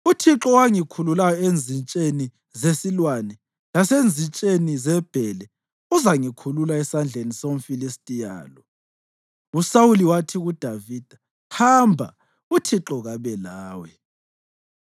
Uthixo owangikhululayo enzitsheni zesilwane lasenzitsheni zebhele uzangikhulula esandleni somFilistiya lo.” USawuli wathi kuDavida, “Hamba, uThixo kabe lawe.”